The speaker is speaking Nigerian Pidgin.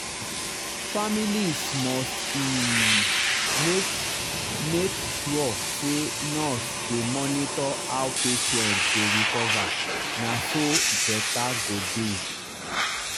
families must um make make sure say nurse dey monitor how patient dey recover na so better go dey.